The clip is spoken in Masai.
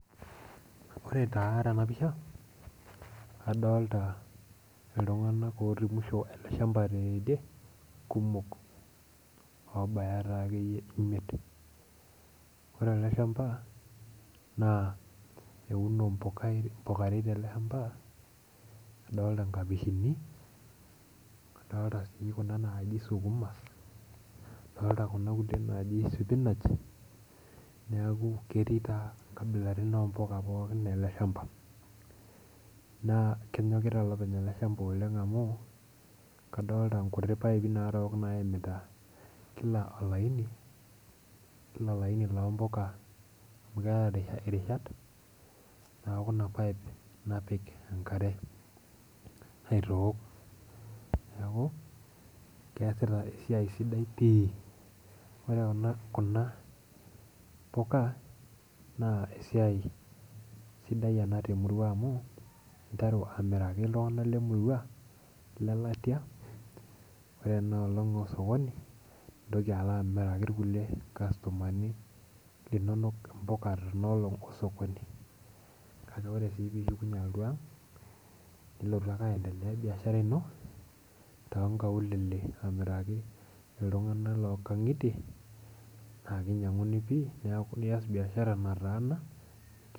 Ore taa tena pisha adolta iltung'anak otii musho ele shamba teidie kumok obaya taakeyie imiet ore ele shamba naa euno impuka, mpukarei tele shamba adolta nkapishini adolta sii kuna naaji sukuma adolta kuna kulie naaji sipinach niaku ketii taa inkabilarin pookin ompuka ele shamba naa kenyokita olopeny ele shamba oleng amu kadolta inkuti paipi narook naimita kila olaini kila olaini lompuka amu keeta irishat naaku ina pipe napik enkare aitook niaku keesita esiai sidai pii ore kuna, kuna puka naa esiai sidai ena temurua amu interu amiraki iltung'anak lemurua ilelatia ore ena olong osokoni nintoki alo amiraki irkulie kastomani linonok impuka tina olong osokoni kake ore sii pishukunyie alotu ang nilotu ake aendelea biashara ino tonkaulele amiraki iltung'anak lonkang'itie nias biashara nataana.